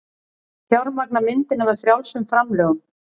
Fjármagna myndina með frjálsum framlögum